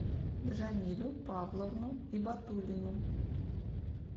джамилю павловну ибатуллину